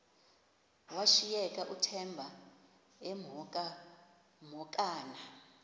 washiyeka uthemba emhokamhokana